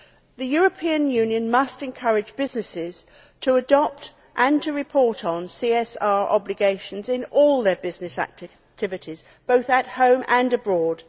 The European Union must encourage businesses to adopt and to report on CSR obligations in all their business activities, both at home and abroad.